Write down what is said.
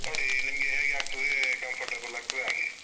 ನೋಡಿ ನಿಮ್ಗೆ ಹೇಗೆ ಆಗ್ತದೆ, comfortable ಆಗ್ತದೆ ಹಾಗೆ.